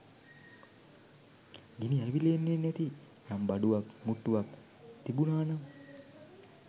ගිනි ඇවිල්ලෙන්නෙ නැති යම් බඩුවක් මුට්ටුවක් තිබුනා නම්